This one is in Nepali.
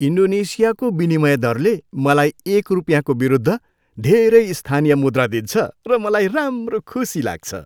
इन्डोनेसियाको विनिमय दरले मलाई एक रुपियाँको विरूद्ध धेरै स्थानीय मुद्रा दिन्छ र मलाई राम्रो खुशी लाग्छ।